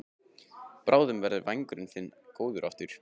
Bráðum verður vængurinn þinn góður aftur.